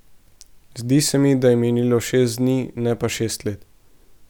Zdi se mi, da je minilo šest dni, ne pa šest let.